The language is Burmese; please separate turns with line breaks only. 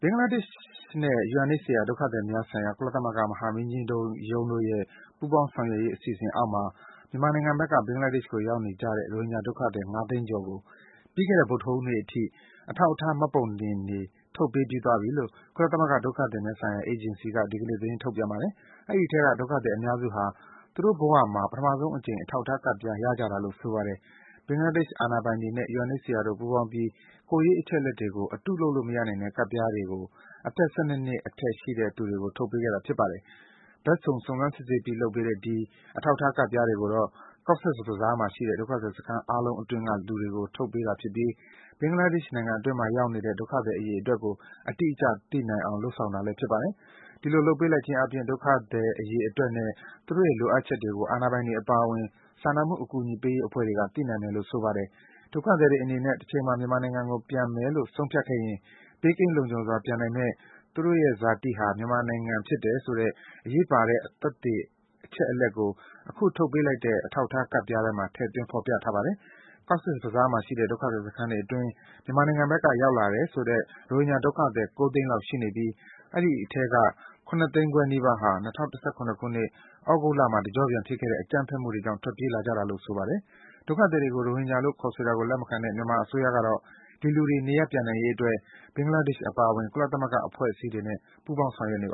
င်္ဂလားဒေ့ရှ်နဲ့ UNHCR ဒုက္ခသည်များဆိုင်ရာ ကုလသမဂ္ဂမဟာမင်းကြီးရုံးတို့ရဲ့ ပူးပေါင်းဆောင်ရွက်ရေး အစီအစဉ်အောက်မှာ မြန်မာနိုင်ငံဘက်ကနေ ဘင်္ဂလားဒေ့ရှ်ကိုရောက်နေကြတဲ့ ရိုဟင်ဂျာဒုက္ခသည် ၅၀၀,၀၀၀ ကျော်ကို ပြီးခဲ့တဲ့ ဗုဒ္ဓဟူးနေ့အထိ အထောက်အထား မှတ်ပုံကဒ် ထုတ်ပေးပြီးသွားပြီလို့ ကုလသမဂ္ဂ ဒုက္ခသည်များဆိုင်ရာအေဂျင်စီ UNHCR က ဒီကနေ့ သတင်းထုတ်ပြန်ပါတယ်။ ဒီအထဲက ဒုက္ခသည်အများစုဟာ သူတို့ဘဝမှာ ပထမဆုံးအကြိမ် အထောက်အထားကဒ်ပြားရကြတာလို့ ဆိုပါတယ်။ ဘင်္ဂလားဒေ့ရှ်အာဏာပိုင်တွေနဲ့ UNHCR တို့ ပူးပေါင်းပြီး ကိုယ်ရေးအချက်အလက်တွေကို အတုလုပ်လို့မရနိုင်တဲ့ ကဒ်ပြားတွေကို အသက် ၁၂ နှစ်အထက် ရှိတဲ့သူတွေကို ထုတ်ပေးခဲ့တာ ဖြစ်ပါတယ်။ ဘက်စုံ စုံစမ်းစစ်ဆေးပြီးလုပ်ပေးတဲ့ ဒီ အထောက်အထားကဒ်ပြားတွေကိုတော့ Cox’s Bazar မှာရှိတဲ့ ဒုက္ခသည်စခန်းအားလုံးအတွင်းက လူတွေကို ထုတ်ပေးတာဖြစ်ပြီး ဘင်္ဂလားဒေ့ရှ်နိုင်ငံအတွင်းမှာရောက်နေတဲ့ ဒုက္ခသည်အရေအတွက်ကို အတိအကျသိနိုင်အောင် လုပ်ဆောင်တာလည်း ဖြစ်ပါတယ်။ ဒီလိုလုပ်ပေးလိုက်ခြင်းအားဖြင့် ဒုက္ခသည်အရေအတွက်နဲ့ သူတို့ရဲ့လိုအပ်ချက်တွေကို ဒေသခံအာဏာပိုင်တွေ အပါအဝင် စာနာမှုအကူအညီပေးရေး အဖွဲ့အစည်းတွေက သိရှိနိုင်မယ်လို့ ဆိုပါတယ်။ ဒုက္ခသည်တွေအနေနဲ့ တချိန်မှာ မြန်မာနိုင်ငံကိုပြန်မယ်လို့ ဆုံးဖြတ်ခဲ့ရင် ဘေးကင်းလုံခြုံစွာပြန်နိုင်မယ့် သူတို့ရဲ့ ဇာတိဟာ မြန်မာနိုင်ငံကဖြစ်တယ်ဆိုတဲ့ အရေးပါတဲ့ သက်သေခံအချက်အလက်ကို အခု ထုတ်ပေးလိုက်တဲ့ အထောက်အထားကဒ်ပြားထဲမှာ ထည့်သွင်း ဖော်ပြထားပါတယ်။ Cox’s Bazar ဒေသမှာရှိတဲ့ ဒုက္ခသည်စခန်းတွေအတွင်း မြန်မာနိုင်ငံဘက်က ရောက်လာတယ်ဆိုတဲ့ ရိုဟင်ဂျာဒုက္ခသည် ၉၀၀,၀၀၀ လောက် ရှိနေပြီး အဲဒီအထဲက ၇၅၀,၀၀၀ နီးပါးဟာ၂၀၁၇ ခုနှစ်၊ သြဂုတ်လမှာ တကျော့ပြန်ဖြစ်ခဲ့တဲ့ အကြမ်းဖက်မှုတွေကြောင့် ထွက်ပြေးလာကြတာလို့ ဆိုပါတယ်။ အဲဒီဒုက္ခသည်တွေကို ရိုဟင်ဂျာလို့ ခေါ်ဆိုတာကို လက်မခံတဲ့ မြန်မာအစိုးရကတော့ ဒီလူတွေ နေရပ်ပြန်လာ နိုင်ရေးအတွက် ဘင်္ဂလားဒေ့ရှ်အပါအဝင် ကုလသမဂ္ဂအဖွဲ့အစည်းတွေနဲ့ ပူးပေါင်း ဆောင်ရွက်နေတ